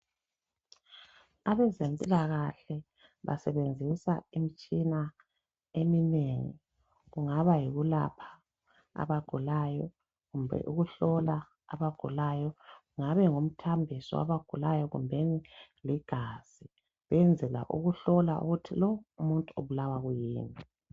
abezempilakahle basebenzisa imitshina eminengi kungaba yikulapha abagulayo kumbe ukuhlola abagulayo kungabe ngumthambiso wabagulayo kumbeni ligazi benzela ukuhlola lokhu ukuthi umuntu ubulawa yikhuyini